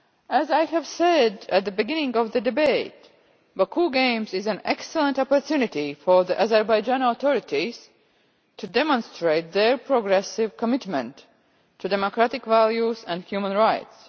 As I said at the beginning of the debate, the Baku Games are an excellent opportunity for the Azerbaijani authorities to demonstrate their progressive commitment to democratic values and human rights.